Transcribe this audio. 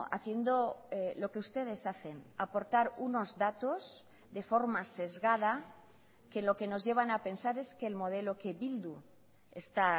haciendo lo que ustedes hacen aportar unos datos de forma sesgada que lo que nos llevan a pensar es que el modelo que bildu está